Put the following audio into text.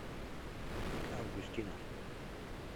августина